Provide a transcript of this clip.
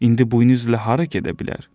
İndi buynuzla hara gedə bilər?